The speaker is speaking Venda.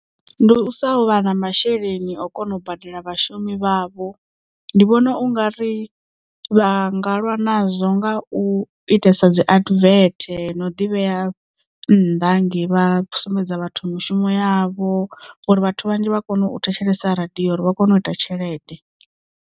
Ndi u sa vha na masheleni a u kona u badela vhashumi vhavho ndi vhona u nga ri vha nga lwa nazwo nga u itesa dzi advert no ḓivhea nnḓa hangei vha sumbedza vhathu mushumo yavho uri vhathu vhanzhi vha kone u thetshelesa radio uri vha kone u ita tshelede.